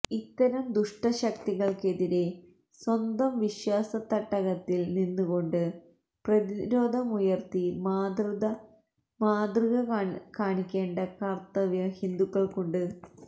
ഇത്തരം ദുഷ്ടശക്തികൾക്കെതിരെ സ്വന്തം വിശ്വാസത്തട്ടകത്തിൽ നിന്നുകൊണ്ട് പ്രതിരോധമുയർത്തി മാതൃത കാണിക്കേണ്ട കർത്തവ്യം ഹിന്ദുക്കൾക്കുണ്ട്